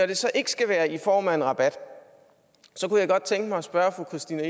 det så ikke skal være i form af en rabat kunne jeg godt tænke mig at spørge fru christina